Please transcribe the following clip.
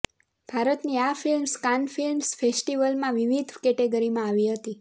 ભારતની આ films Cannes film ફેસ્ટિવલમાં વિવિધ કેટેગરીમાં આવી હતી